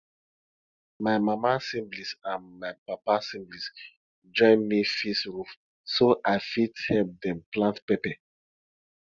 my mama siblings and my papa siblings join me fix roof so i fit help them plant pepper